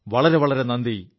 വളരെ വളരെ നന്ദി